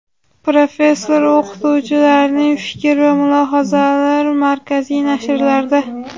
Professor-o‘qituvchilarning fikr va mulohazalari markaziy nashrlarda:.